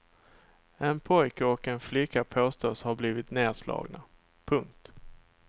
En pojke och en flicka påstås ha blivit nerslagna. punkt